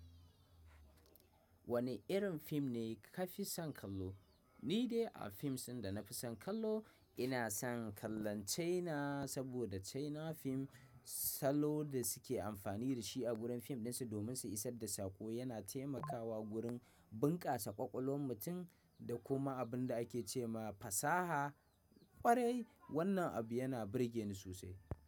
Wane irin fim ne ka fi son kallo? Ni dai a fims din da na fi son kallo ina son kallon China saboda China fim salo da suke amfani da shi a gurin fim ɗinsu domin su isar da sako yana taimakawa gurin bunƙasa ƙwaƙwalwan mutum da kuma abin da ake ce ma fasaha ƙwarai wannan abu yana burge ni sosai.